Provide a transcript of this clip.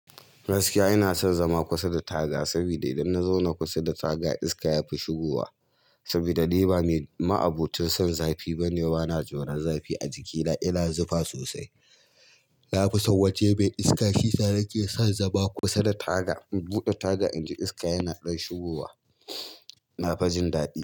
Gaskiya ina son zama kusa da taga, saboda idan na zauna kusa da taga iska yafi shigowa. Saboda ni ba ni ma'abocin son zafi bane, bana tsoran zafi a jikina, ina zufa sosai. Na fi san waje mai iska. Shisa nake son zama kusa da taga, in buɗe taga inji iska yana ɗan shigowa. Na fi jin daɗi.